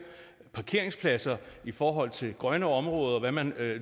parkeringspladser i forhold til grønne områder og hvad man